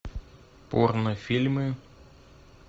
порно фильмы